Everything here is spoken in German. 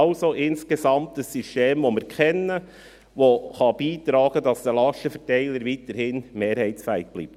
Es ist also insgesamt ein System, das wir kennen und das dazu beitragen kann, dass der Lastenverteiler weiterhin mehrheitsfähig bleibt.